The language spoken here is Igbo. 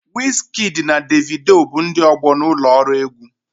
Wizkidi na Devido bụ ndị ọgbọ na ụlọ ọrụ egwu.